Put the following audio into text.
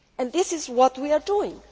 This is what we are doing.